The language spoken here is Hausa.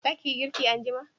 za ki yi girki anjima?